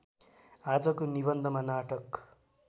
आजको निबन्धमा नाटक